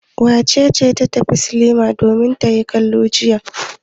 Wace ce ta tafi sinima domin ta yi kallo jiya?